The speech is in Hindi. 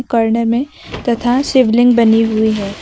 कोने में तथा शिवलिंग बनी हुई है।